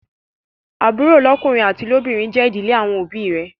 Àbúrò lọ́kùnrin àti lóbìnrin jé ìdílé àwọn òbí ì rẹ.